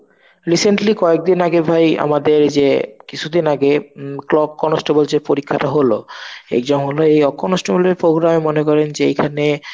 recently কয়েকদিন আগে ভাই আমাদের এই যে কিছু দিন আগে clock constable যে পরীক্ষাটা হলো এই জঙ্গলে এই constable এর program এ মনে করেন যে এখানে